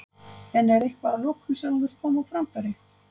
En er eitthvað að lokum sem þú vilt koma á framfæri?